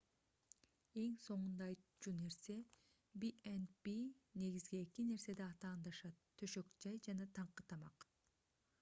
эң соңунда айтуучу нерсе b&b негизги эки нерседе атаандашат төшөк-жай жана таңкы тамак